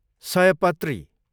सयपत्री